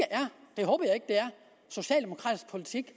socialdemokratisk politik